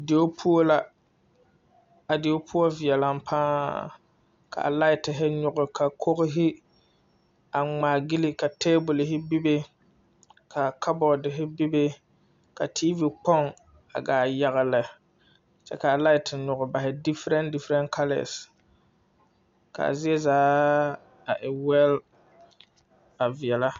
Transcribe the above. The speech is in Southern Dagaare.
Die poɔ la a die poɔ veɛlɛŋ paa la laite nyige ka koge ŋmaa gyili ka tabolhi bebe kabɔti bebe ka tiivi kpoŋ a gaa yagli kyɛɛ kaa laiti nyige bare difirɛnti kalɛɛ kaa zie zaa a e wɛl a veɛlɛ.